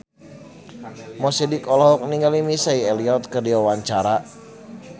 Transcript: Mo Sidik olohok ningali Missy Elliott keur diwawancara